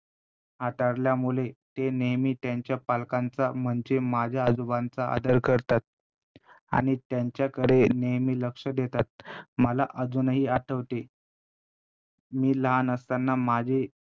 हाताळल्यामुळे ते नेहमी त्यांच्या पालकांचा म्हणजे माझ्या आजोबांचा आदर करतात आणि त्यांच्याकडे नेहमी लक्ष देतात. मला अजूनही आठवते मी लहान असताना माझे